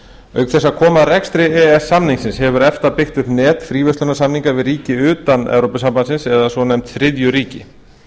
auk þess að koma að rekstri e e s samningsins hefur efta byggt upp net fríverslunarsamninga við ríki utan e s b eða svonefnd þriðju ríki